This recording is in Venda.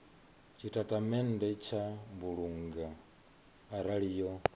tshitatamennde tsha mbulungo arali yo